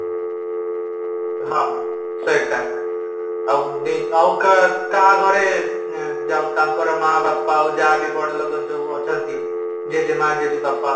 ହଁ ସେଟା ଆଉ କା କାହା ଘରେ ଯୋଉ ତାଙ୍କର ମା ବାପା ହୋଉ ଯାହାବି ବଡ଼ ଲୋକ ଅଛନ୍ତି ଜେଜେମା, ଜେଜେବାପା